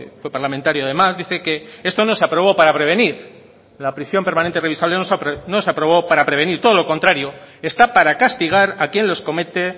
fue parlamentario además dice que esto no se aprobó para prevenir la prisión permanente revisable no se aprobó para prevenir todo lo contrario está para castigar a quien los comete